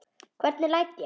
Hvernig læt ég!